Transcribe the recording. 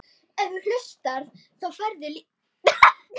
Það yljaði mér.